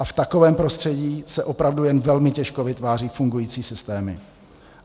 A v takovém prostředí se opravdu jen velmi těžko vytvářejí fungující systémy.